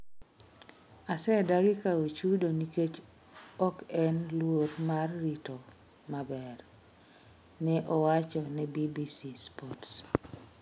"Asedagi kawo chudo nikech ok en luor mar rito maber", ne owacho ne BBC Sport.